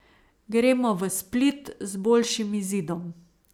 Gremo v Split z boljšim izidom.